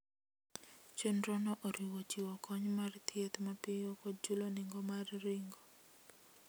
Chenrono oriwo chiwo kony mar thieth mapiyo kod chulo nengo mar ringo.